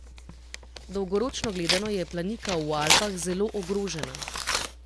Dolgoročno gledano je planika v Alpah zelo ogrožena.